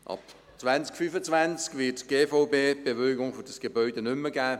Ab 2025 wird die GVB die Bewilligung für dieses Gebäude nicht mehr geben.